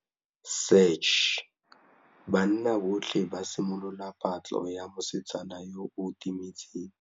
Banna botlhê ba simolotse patlô ya mosetsana yo o timetseng.